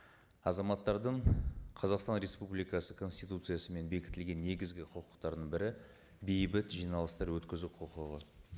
азаматтардың қазақстан республикасы конституциясымен бекітілген негізгі құқықтарының бірі бейбіт жиналыстар өткізу құқығы